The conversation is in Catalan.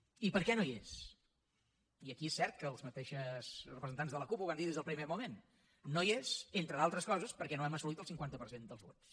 i per què no hi és i aquí és cert que els mateixos representants de la cup ho van dir des del primer moment no hi és entre d’altres coses perquè no hem assolit el cinquanta per cent dels vots